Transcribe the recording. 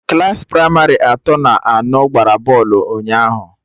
Klassị pramarị atọ na anọ gbara bọlụ ụnyaahụ